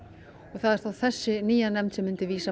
og það er þá þessi nýja nefnd sem myndi vísa